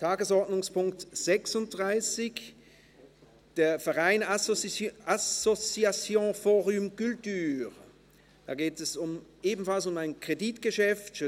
Zum Verein «Association fOrum culture»: Hier geht es ebenfalls um ein Kreditgeschäft.